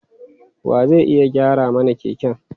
Wa zai iya gyara mana keken?